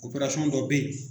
Oparasɔn dɔ be yen